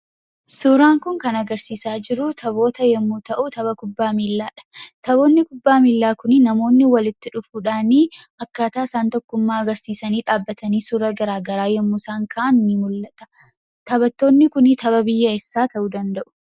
Suuraan kun, kan agarsiisa jiru taphoota yommuu ta'u, taphaa miilladha. Taphoonni kubbaa miilla kunii, namoonni walitti dhufuudhani, akkata isaan tokkummaa agarsiisani dhabbatani suura garaagaraa yemmuusaan ka'an, ni mul'ata. Taphattoonni kun, tapha biyya eessa ta'u, danda'u?